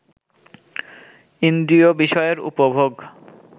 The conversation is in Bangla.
ইন্দ্রিয় বিষয়ের উপভোগ